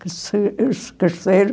Eles cresceram